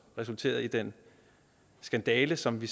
resulterede i den skandale som vi